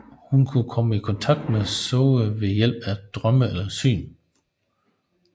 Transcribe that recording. Hun kan komme i kontakt med Zoey ved hjælp af drømme eller syn